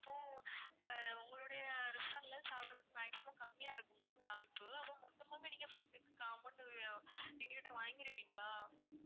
இப்போ அஹ் உங்களுடைய restaurant ல சாப்பிடறதுக்கு maximum கம்மியா இருக்கும் ma'am வாய்ப்பு அதுவும் மொத்தமாவே நீங்க food க்கு கா~ amount எங்க கிட்ட வாங்கிடுவிங்களா?